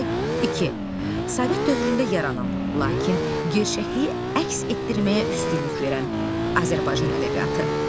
İki, Sovet dövründə yaranan, lakin gerçəkliyi əks etdirməyə üstünlük verən Azərbaycan ədəbiyyatı.